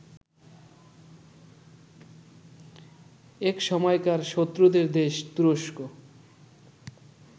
একসময়কার শত্রুদের দেশ তুরস্ক